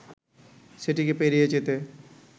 সেটিকে পেরিয়ে যেতে